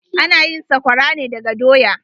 Ana yin sakwara ne daga doya.